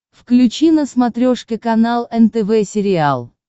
включи на смотрешке канал нтв сериал